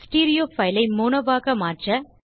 stereo file ஐ mono ஆக மாற்ற